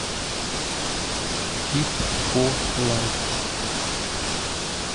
фит фо лайф